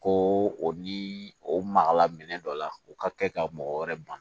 Ko o ni o magala minɛn dɔ la o ka kɛ ka mɔgɔ wɛrɛ ban